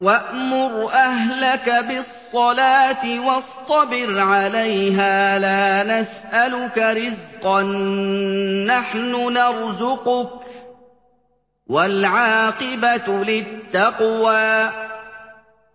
وَأْمُرْ أَهْلَكَ بِالصَّلَاةِ وَاصْطَبِرْ عَلَيْهَا ۖ لَا نَسْأَلُكَ رِزْقًا ۖ نَّحْنُ نَرْزُقُكَ ۗ وَالْعَاقِبَةُ لِلتَّقْوَىٰ